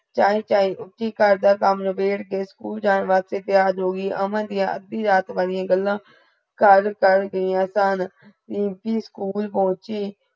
ਚਾਇ ਚਾਇ ਰੀਮਪੀ ਘਰ ਦਾ ਕਾਮ ਲਾਪੇੜ੍ਹ ਕੇ school ਜਾਨ ਵਾਸਤੇ ਤਯਾਰ ਹੋ ਗਈ ਅਮਨ ਦੀਆ ਅਧੀ ਰਾਤ ਵਾਲੀਯਾ ਗਲਾ ਕਰ ਕਰਗਈ ਆਸਾਨ ਰੀਮਪੀ ਸਕੂਲ ਪੋਹੁਚੀ